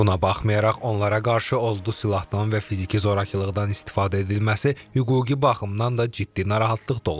Buna baxmayaraq, onlara qarşı odlu silahdan və fiziki zorakılıqdan istifadə edilməsi hüquqi baxımdan da ciddi narahatlıq doğurur.